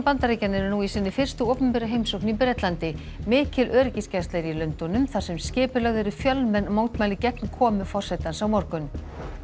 Bandaríkjanna eru nú í sinni fyrstu opinberu heimsókn í Bretlandi mikil öryggisgæsla er í Lundúnum þar sem skipulögð eru fjölmenn mótmæli gegn komu forsetans á morgun